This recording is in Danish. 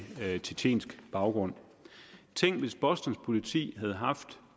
tjetjensk baggrund tænk hvis bostons politi havde haft